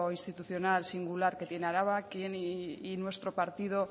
institucional singular que tiene araba y nuestro partido